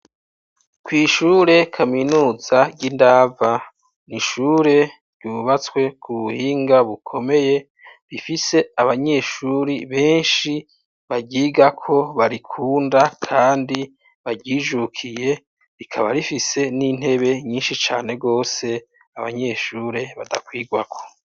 Kw'ishure kaminuza ry'indava nishure ryubatswe ku buhinga bukomeye rifise abanyeshuri benshi bahigako barikunda kandi baryijukiye rikaba rifise n'intebe nyinshi cane bose abanyeshure badakwigwako.